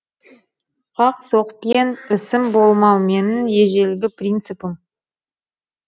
қақ соқпен ісім болмау менің ежелгі принципім